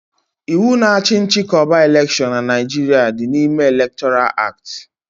Ịwu na achị nchịkọba elekshon n'Naijiria dị n'ime elektoral acti